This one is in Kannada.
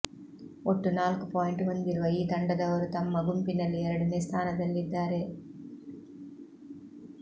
ಒಟ್ಟು ನಾಲ್ಕು ಪಾಯಿಂಟ್ ಹೊಂದಿರುವ ಈ ತಂಡದವರು ತಮ್ಮ ಗುಂಪಿನಲ್ಲಿ ಎರಡನೇ ಸ್ಥಾನದಲ್ಲಿದ್ದಾರೆ